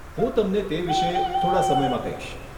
હું તમને તે વિષે થોડા સમયમાં કહીશ.